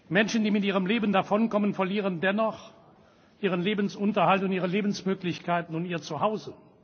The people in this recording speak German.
Menschen, die mit ihrem Leben davonkommen, verlieren dennoch ihren Lebensunterhalt und ihre Lebensmöglichkeiten und ihr Zuhause.